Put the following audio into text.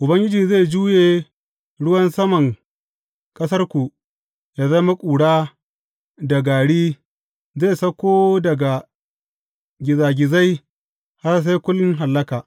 Ubangiji zai juye ruwan saman ƙasarku yă zama ƙura da gari; zai sauko daga gizagizai har sai kun hallaka.